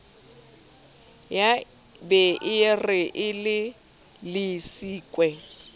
ya be e re elellisitswe